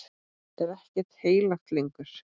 Er ekkert heilagt lengur?